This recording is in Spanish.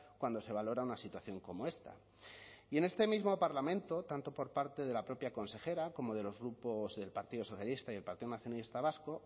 cuando se valora una situación como esta y en este mismo parlamento tanto por parte de la propia consejera como de los grupos partido socialista y partido nacionalista vasco